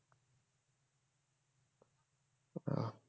ও